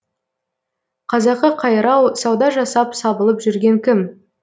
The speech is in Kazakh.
қазақы қайрау сауда жасап сабылып жүрген кім